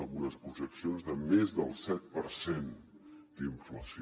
en unes projeccions de més del set per cent d’inflació